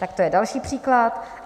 Tak to je další příklad.